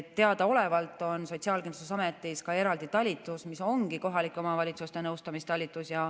Teadaolevalt on Sotsiaalkindlustusametis ka eraldi talitus, mis ongi kohalike omavalitsuste nõustamistalitus.